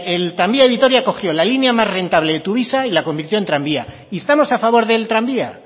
el tranvía de vitoria cogió la línea más rentable de tuvisa y la convirtió en tranvía y estamos a favor del tranvía